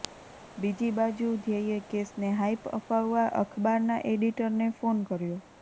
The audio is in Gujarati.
બીજી બાજુ ધ્યેયે કેસને હાઈપ અપાવવા અખબારના એડિટરને ફોન કર્યાે